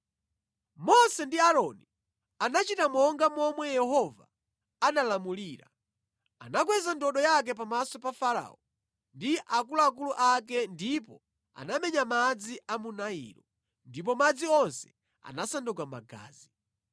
Mose ndi Aaroni anachita monga momwe Yehova analamulira. Anakweza ndodo yake pamaso pa Farao ndi akuluakulu ake ndipo anamenya madzi a mu Nailo, ndipo madzi onse anasanduka magazi.